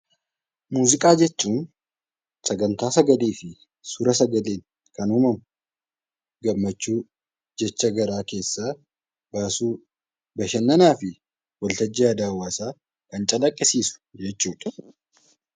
Muuziqaa jechuun Sagantaa sagalee fi suur-sagaleen kan uumamu gammachuu, jecha garaa keessaa baasuu, bashannanaa fi waltajjii aadaa hawwaasaa kan calaqqisiisu jechuudha.